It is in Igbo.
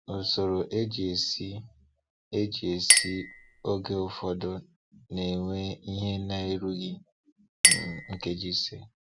Usoro e ji esi e ji esi oge ụfọdụ na-ewe ihe na-erughị um nkeji ise.